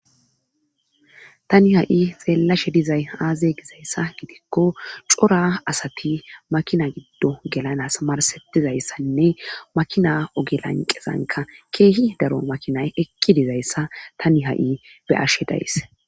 Tani ha7i xeellashe dizay aaze gizayssa gidikko cora asati makina giddo gelanas marsetizayssanne makina ogelanqezanka keehi daro makinay ekki dizayssa tani ha7i be'ashe days.